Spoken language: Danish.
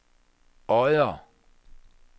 Odder